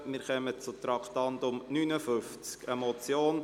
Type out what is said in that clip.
Wir kommen zum Traktandum 59, einer Motion: